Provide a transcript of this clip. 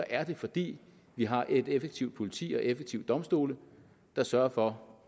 er det fordi vi har et effektivt politi og effektive domstole der sørger for